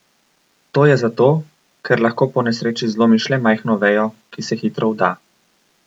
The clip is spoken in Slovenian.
To je zato, ker lahko po nesreči zlomiš le majhno vejo, ki se hitro vda.